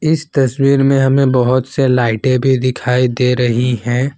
इस तस्वीर में हमें बहोत से लाइटें भी दिखाई दे रही है।